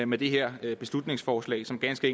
med det her beslutningsforslag som ganske